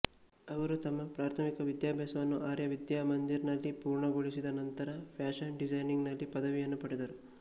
ಅವರು ತಮ್ಮ ಪ್ರಾಥಮಿಕ ವಿದ್ಯಾಭ್ಯಾಸವನ್ನು ಆರ್ಯ ವಿದ್ಯಾ ಮಂದಿರ್ ನಲ್ಲಿ ಪೂರ್ಣಗೊಳಿಸಿದ ನಂತರ ಫ್ಯಾಷನ್ ಡಿಸೈನಿಂಗ್ ನಲ್ಲಿ ಪದವಿಯನ್ನು ಪಡೆದರು